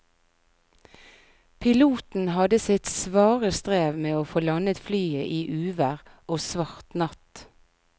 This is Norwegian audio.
Piloten hadde sitt svare strev med å få landet flyet i uvær og svart natt.